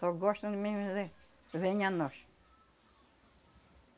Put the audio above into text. Só gostam mesmo de dizer, venha a nós.